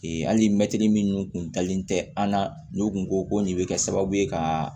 Ee hali mɛtiri minnu kun dalen tɛ an na n'u kun ko ko nin bɛ kɛ sababu ye ka